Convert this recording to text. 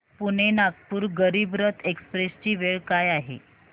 Pune Nagpur Garib Rath express ची वेळ काय आहे